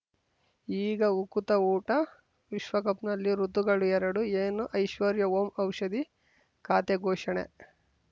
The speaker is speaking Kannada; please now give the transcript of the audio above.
ಈಗ ಉಕುತ ಊಟ ವಿಶ್ವಕಪ್‌ನಲ್ಲಿ ಋತುಗಳು ಎರಡು ಏನು ಐಶ್ವರ್ಯಾ ಓಂ ಔಷಧಿ ಖಾತೆ ಘೋಷಣೆ